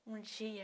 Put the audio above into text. Um dia,